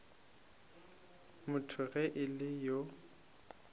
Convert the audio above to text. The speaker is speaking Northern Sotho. motho ge e le yo